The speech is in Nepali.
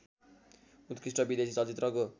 उत्कृष्ट विदेशी चलचित्रको